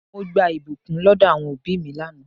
Mo gba ìbùkún lọdọ àwọn òbí mi lánàá.